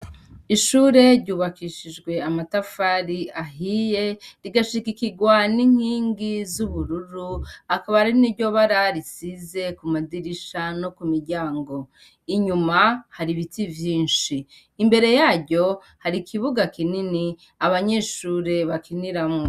Ishure ryubakishishwe amatafari ahiye rigashikirwa ninkingi zubururu akaba ari niryo barara risize kumadirisha no kumiryango inyuma hari ibiti vyinshi imbere yaryo hari ikibuga kinini abanyeshure bakiniramwo